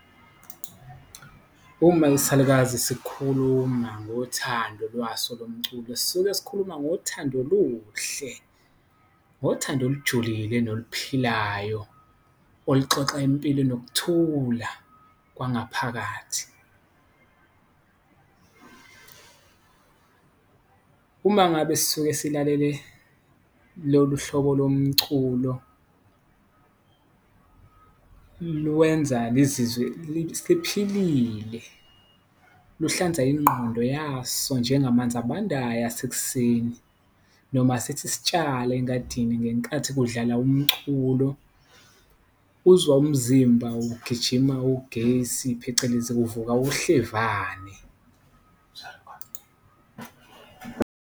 Uma isalukazi sikukhuluma ngothando lwaso lomculo sisuke sikhuluma ngothando oluhle, ngothando olujulile noluphilayo, oluxoxa impilo enokuthula kwangaphakathi. Uma ngabe sisuke silalele lolu hlobo lomculo lwenza lizizwe liphelile. Luhlanza ingqondo yaso njengamanzi abandayo asekuseni noma sithi sitshala engadini ngenkathi kudlala umculo, uzwa umzimba ugijima ugesi, phecelezi kuvuka uhlevane.